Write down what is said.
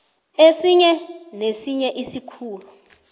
esinye nesinye isikhulu